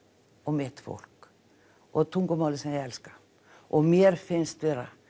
og mitt fólk og tungumáli sem ég elska og mér finnst vera